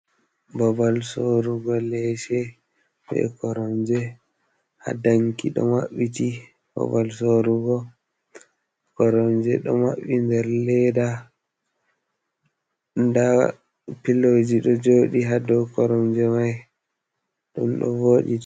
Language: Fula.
Ɓabal sorrugo lese, ɓe koromje ha ɗanki ɗo maɓɓiti. Ɓaɓal sorrugo koromje ɗo mabbi nɗer leɗɗa. Nɗ piloji ɗo jooɗi ha ɗow koromje mai, ɗun ɗo voɗi.